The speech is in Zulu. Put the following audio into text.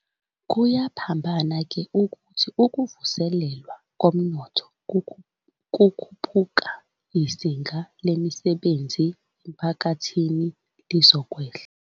Kuyaphambana-ke, ukuthi uma ukuvuselelwa komnotho kukhuphuka, izinga lemisebenzi emphakathini lizokwehla.